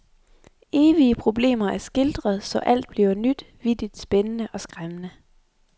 Evige problemer er skildret, så alt bliver nyt, vittigt, spændende og skræmmende.